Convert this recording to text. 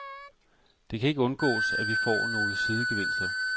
Det kan ikke undgås, at vi får nogle sidegevinster.